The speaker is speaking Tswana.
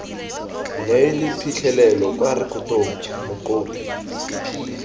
neele phitlhelelo kwa rekotong mokopi